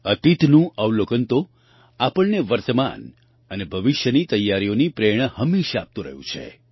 અતીતનું અવલોકન તો આપણને વર્તમાન અને ભવિષ્યની તૈયારીઓની પ્રેરણા હંમેશાં આપતું રહ્યું છે